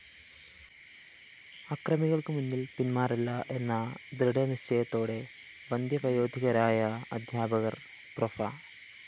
അക്രമികള്‍ക്ക് മുന്നില്‍ പിന്മാറില്ല എന്ന ദൃഢനിശ്ചയത്തോടെ വന്ദ്യവയോധികരായ അധ്യാപകര്‍ പ്രോഫ്‌